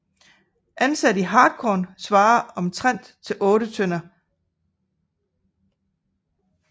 Ansat i hartkorn svarer det omtrent til 8 tønder htkn